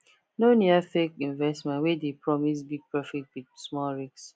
no near fake investments wey dey promise big profit with small risk